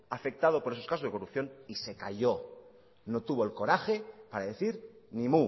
afectado por esos casos de corrupción y se cayó no tuvo el coraje para decir ni